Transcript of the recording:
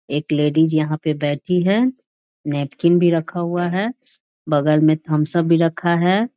एक लेडीज यहाँ पे बैठी है । नैपकिन भी रखा हुआ है । बगल में थम्स-अप भी रखा है ।